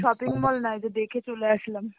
shopping mall নয় যে দেখে চলে আসলাম.